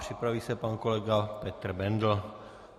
Připraví se pan kolega Petr Bendl.